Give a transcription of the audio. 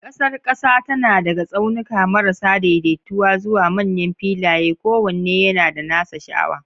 Ƙasar ƙasa tana daga tsaunuka marasa daidaituwa zuwa manyan filaye, kowanne yana da nasa sha'awa.